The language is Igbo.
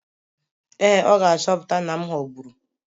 Ee, ọ ga-achọpụta na m ghọgburu.